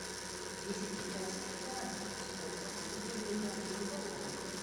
десять китайских юаней сколько будет в американских долларах